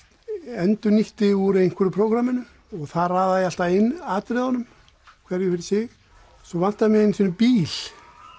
endurnýtti úr einhverju prógramminu og þar raðaði ég alltaf inn atriðunum hverju fyrir sig svo vantaði mig einu sinni bíl